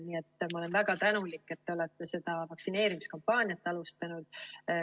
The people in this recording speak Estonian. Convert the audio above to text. Nii et ma olen väga tänulik, et te olete seda vaktsineerimiskampaaniat alustanud.